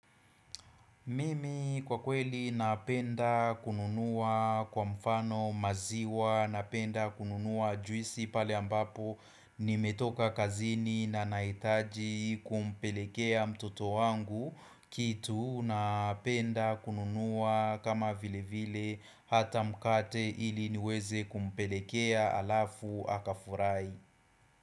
Mimi kwa kweli napendaa kununua kwa mfano maziwa, napenda kununuwa juisi, pale ambapo nimetoka kazini na nahitaji kumpelekea mtoto wangu kitu napenda kununua kama vilevile hata mkate ili niweze kumpelekea halafu akafurahi.